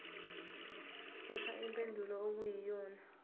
khetha impendulo okuyiyona